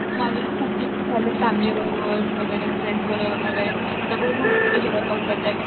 माझे पण खूप प्लॅन्स चाललेत फॅमिली बरोबर वगैरे. फ्रेंड्स बरोबर वगैरे. आता बघुत कशे वर्क आउट करतात ते.